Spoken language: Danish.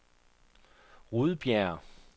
Rudbjerg